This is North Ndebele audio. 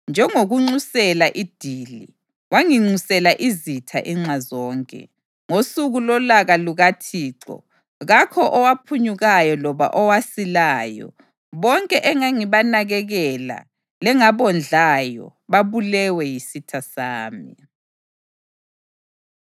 “Njengokunxusela idili, wanginxusela izitha inxa zonke. Ngosuku lolaka lukaThixo, kakho owaphunyukayo loba owasilayo; bonke engangibanakekela lengabondlayo babulewe yisitha sami.”